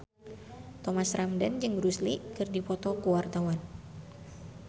Thomas Ramdhan jeung Bruce Lee keur dipoto ku wartawan